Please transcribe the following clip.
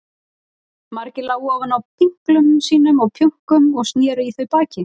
Margir lágu ofan á pinklum sínum og pjönkum og sneru í þau baki.